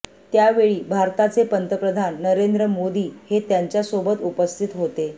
त्यावेळी भारताचे पंतप्रधान नरेंद्र मोदी हे त्यांच्यासोबत उपस्थित होते